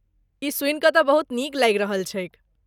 ई सुनि के तँ बहुत नीक लागि रहल छैक।